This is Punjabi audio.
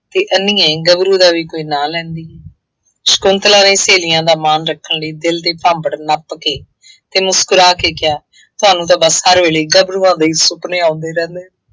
ਅਤੇ ਅੰਨ੍ਹੀਏ ਗੱਭਰੂ ਦਾ ਵੀ ਕੋਈ ਨਾਂ ਲੈਂਦੀ। ਸ਼ੰਕੁਤਲਾ ਨੇ ਸਹੇਲੀਆਂ ਦਾ ਮਾਨ ਰੱਖਣ ਲਈ ਦਿਲ ਦੇ ਭਾਂਬੜ ਨੱਪ ਕੇ ਅਤੇ ਮੁਸਕਰਾ ਕੇ ਕਿਹਾ, ਤੁਹਾਨੂੰ ਤਾਂ ਬਸ ਹਰ ਵੇਲੇ ਗੱਭਰੂਆਂ ਦੇ ਹੀ ਸੁਪਨੇ ਆਉਂਦੇ ਰਹਿੰਦੇ ਆ।